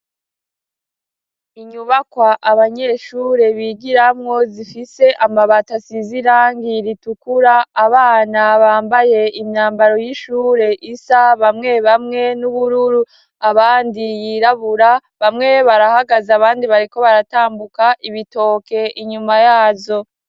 Inyubakwa abanyeshure bigiramwo zifise amabati asize irangi ritukura abana bambaye imyambaro y'ishure isa bamwe bamwe n'ubururu abandi yirabura bamwe barahagaze abandi bariko baratambuka ibitoke inyuma yazo.